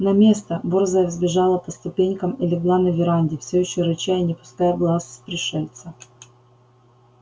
на место борзая взбежала по ступенькам и легла на веранде всё ещё рыча и не спуская глаз с пришельца